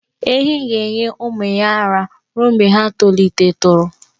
Ehi ga-enye ụmụ ya ara ruo mgbe ha tolitetụrụ.